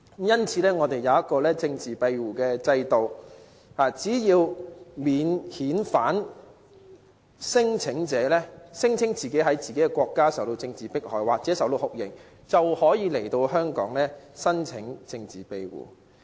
因此，我們設有政治庇護制度，只要免遣返聲請者聲稱其在自己的國家受到政治迫害或遭受酷刑，便可以到來香港申請政治庇護。